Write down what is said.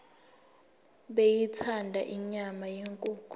beyithanda inyama yenkukhu